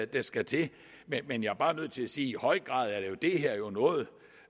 der skal til men jeg er bare nødt til at sige i høj grad